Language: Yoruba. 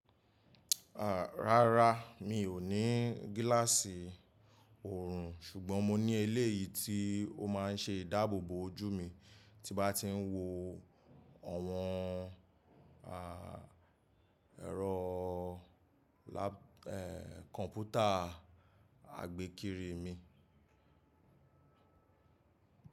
Rárá, mi ò ní gíláàsì òòrùn, ṣùgbọ́n mo ní eléyìí tí ó máa ń ṣe ìdáàbòbò ojú mi tí bá ti ń wo àwọn, à, ẹ̀rọ lá, eeh, kọ̀ǹpútà àgbékiri mi.